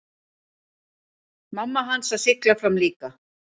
Mamma hans að sigla fram líka.